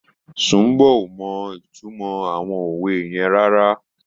Sùḿbò ò mọ ìtumọ àwọn òwe yẹn rárá.